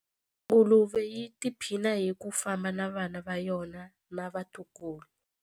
Nguluve yi tiphina hi ku famba na vana va yona na vatukulu.